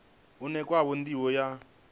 une khawo ndivho ya nila